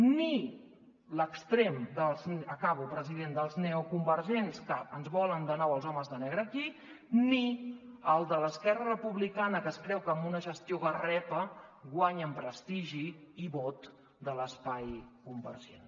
ni l’extrem dels acabo president neoconvergents que ens volen de nou els homes de negre aquí ni el de l’esquerra republicana que es creu que amb una gestió garrepa guanya en prestigi i vot de l’espai convergent